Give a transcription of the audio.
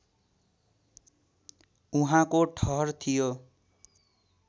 उहाँको ठहर थियो